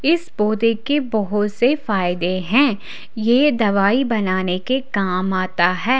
इस पौधे के बहोत से फायदे हैं यह दवाई बनाने के काम आता है।